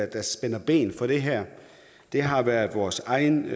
der spænder ben for det her det har været vores egen